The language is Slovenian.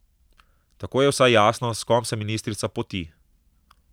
Tako je vsaj jasno, s kom se ministrica poti.